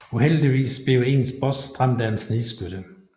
Uheldigvis bliver ens boss dræbt af en snigskytte